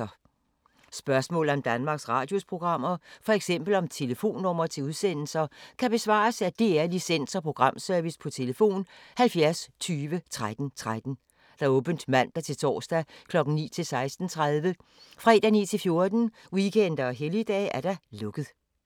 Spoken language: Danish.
Spørgsmål om Danmarks Radios programmer, f.eks. om telefonnumre til udsendelser, kan besvares af DR Licens- og Programservice: tlf. 70 20 13 13, åbent mandag-torsdag 9.00-16.30, fredag 9.00-14.00, weekender og helligdage: lukket.